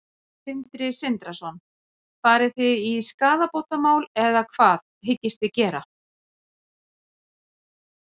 Sindri Sindrason: Farið þið í skaðabótamál eða hvað hyggist þið gera?